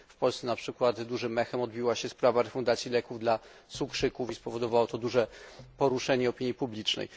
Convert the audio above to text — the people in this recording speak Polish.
W Polsce, na przykład, dużym echem odbiła się sprawa refundacji leków dla cukrzyków i spowodowało to duże poruszenie opinii publicznej.